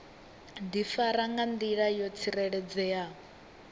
difara nga ndila yo tsireledzeaho